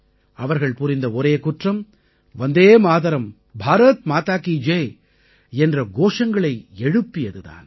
அவர்கள் புரிந்த ஒரே குற்றம் வந்தே மாதரம் பாரத் மாதா கீ ஜெய் என்ற கோஷங்களை எழுப்பியது தான்